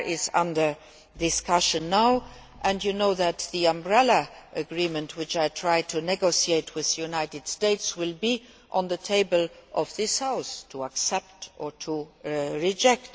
PNR is under discussion now and you know that the umbrella agreement which I negotiated with the United States will be on the table for this House to accept or to reject.